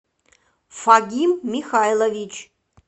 фагим михайлович